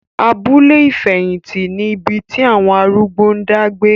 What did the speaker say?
Abúlé ìfẹ̀hìtì ni ibi tí àwọn arúgbó ń dá gbé.